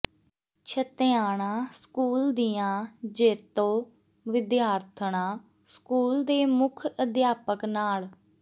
Chhattiana school ਦੀਆਂ ਜੇਤੂ ਵਿਦਿਆਰਥਣਾਂ ਸਕੂਲ ਦੇ ਮੁੱਖ ਅਧਿਆਪਕ ਨਾਲ